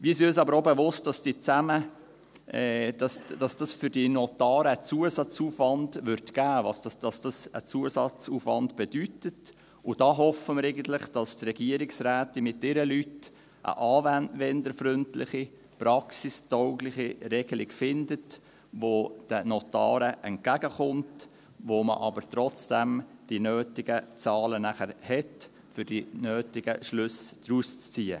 Wir sind uns aber auch bewusst, dass dies für die Notare einen Zusatzaufwand bedeutet, und da hoffen wir eigentlich, dass die Regierungsrätin mit ihren Leuten eine anwenderfreundliche, praxistaugliche Regelung findet, die den Notaren entgegenkommt, bei der man aber nachher trotzdem die nötigen Zahlen hat, um die nötigen Schlüsse zu ziehen.